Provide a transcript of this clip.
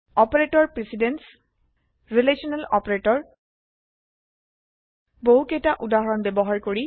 operator precedence relational operator বহুকেইটা উদাহৰণ ব্যৱহাৰ কৰি